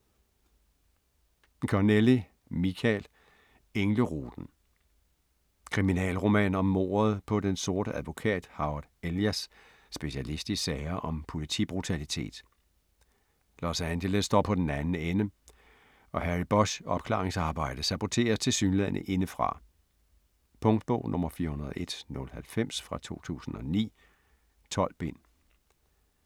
Connelly, Michael: Engleruten Kriminalroman om mordet på den sorte advokat Howard Elias, specialist i sager om politibrutalitet. Los Angeles står på den anden ende, og Harry Bosch's opklaringsarbejde saboteres tilsyneladende indefra. Punktbog 401090 2009. 12 bind.